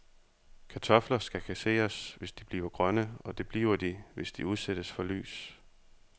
Kartofler skal kasseres, hvis de bliver grønne, og det bliver de, hvis de udsættes for lys.